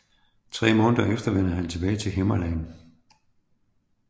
Tre måneder efter vender han tilbage til Himmerland